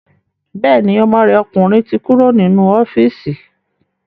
Bẹ́ẹ̀ni, ọmọ rẹ̀ ọkùnrin ti kúrò nínú ọ́fíìsì